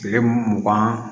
Kile mugan